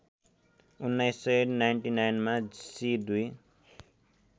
१९९९ मा सि २